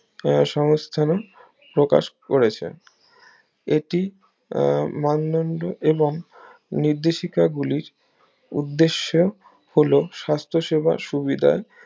এর সমস্তারণ প্রকাশ করেছে এটি আহ মান্যন্ন এবং নির্দেশিকা গুলির উদ্দেশ্য হলো সাস্থ সেবার সুবিধা